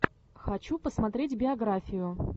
хочу посмотреть биографию